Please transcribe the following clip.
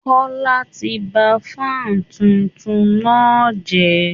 Kọ́la ti ba fan tuntun náà jẹ́